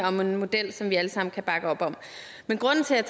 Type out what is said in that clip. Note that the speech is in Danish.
om en model som vi alle sammen kan bakke op om men grunden til at